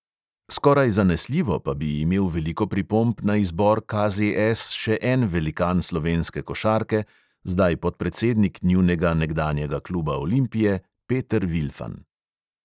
Skoraj zanesljivo pa bi imel veliko pripomb na izbor KZS še en velikan slovenske košarke, zdaj podpredsednik njunega nekdanjega kluba olimpije, peter vilfan.